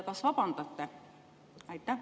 Kas vabandate?